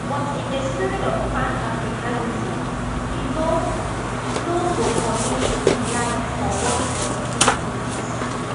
but in di spirit of panafricanism e no no go commit to live for one specific place